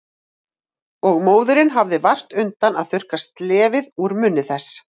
Og móðirin hafði vart undan að þurrka slefið úr munni þess.